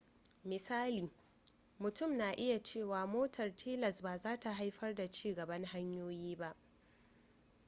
misali mutum na iya cewa motar tilas ba zata haifar da ci gaban hanyoyi ba